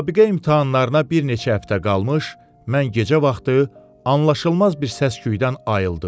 Müsabiqə imtahanlarına bir neçə həftə qalmış mən gecə vaxtı anlaşılmaz bir səsküydən ayıldım.